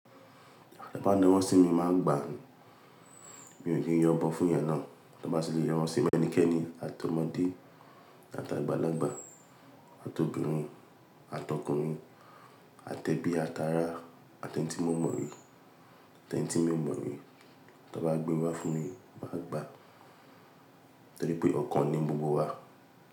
Te ba naa wo sí mi, màá gbà á. Mi ò ki n yọbọ fún yan náà. Tí wọ́n bá ṣe lè rán wọ́n sí ẹ̀mí ẹnikẹ́ni, àtọmọdé àti àgbàlagbà, àti obìnrin àti ọkùnrin, àtẹbí àti ará, àti ẹni tí mo mọ̀ rí, àti ẹni tí mi ò mọ̀ rí, tí wọ́n bá gbé wá fún mi, màá gbà á. Torí pé ọ̀kan ni gbogbo wa.